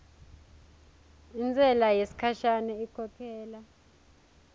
intsela yesikhashana inkhokhela